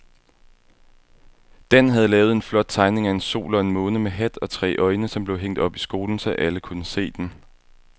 Dan havde lavet en flot tegning af en sol og en måne med hat og tre øjne, som blev hængt op i skolen, så alle kunne se den.